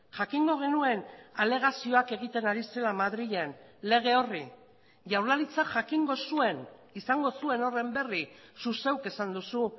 jakingo genuen alegazioak egiten ari zela madrilen lege horri jaurlaritzak jakingo zuen izango zuen horren berri zu zeuk esan duzu